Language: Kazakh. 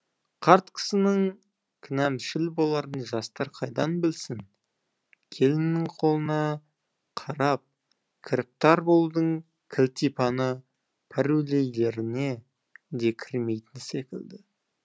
қарт кісінің кінәмшіл боларын жастар қайдан білсін келіннің қолына қарап кіріптар болудың кілтипәні пәруейлеріне де кірмейтін секілді